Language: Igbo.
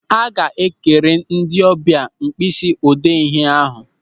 A ga-ekere ndị ọbịa mkpịsị odee ndị ahụ.